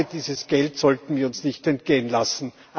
Ich glaube, dieses Geld sollten wir uns nicht entgehen lassen.